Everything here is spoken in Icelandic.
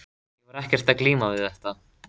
Ég var ekkert að glíma við þetta.